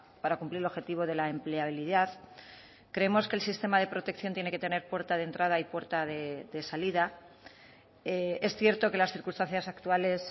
para cumplir el objetivo de la empleabilidad creemos que el sistema de protección tiene que tener puerta de entrada y puerta de salida es cierto que las circunstancias actuales